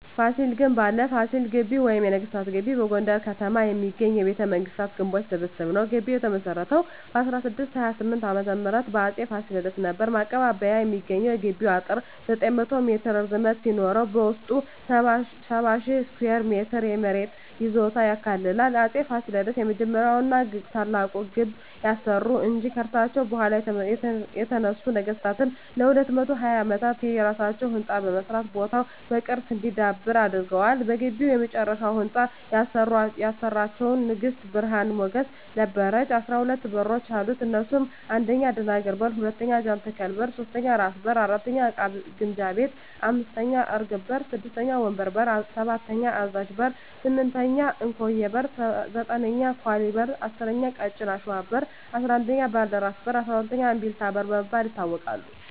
ፋሲል ግንብ አለ ፋሲል ግቢ ወይም ነገስታት ግቢ በጎንደር ከተማ የሚገኝ የቤተ መንግስታት ግንቦች ስብስብ ነዉ ግቢዉ የተመሰረተዉ በ1628ዓ.ም በአፄ ፋሲለደስ ነበር ማቀባበያ የሚሰኘዉ የግቢዉ አጥር 900ሜትር ርዝመት ሲኖረዉበዉስጡ 70,000ስኩየር ሜትር የመሬት ይዞታ ያካልላል አፄ ፋሲለደስ የመጀመሪያዉና ታላቁን ግንብ ያሰሩ እንጂ ከርሳቸዉ በኋላ የተነሱ ነገስታትም ለ220ዓመታት የየራሳቸዉ ህንፃ በመስራት ቦታዉ በቅርስ እንዲዳብር አድርገዋል በግቢዉ የመጨረሻዉን ህንፃ ያሰራቸዉን ንግስት ብርሀን ሞገስ ነበረች 12በሮች አሉት እነሱም 1. አደናግር በር 2. ጃንተከል በር 3. ራስ በር 4. እቃ ግምጃ ቤት 5. እርግብ በር 6. ወንበር በር 7. አዛዥ በር 8. እንኮዬ በር 9. ኳሊ በር 10. ቀጭን አሽዋ በር 11. ባልደራስ በር 12. እምቢልታ በር በመባል ይታወቃሉ